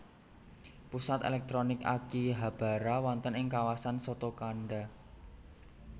Pusat èlèktronik Akihabara wonten ing kawasan Sotokanda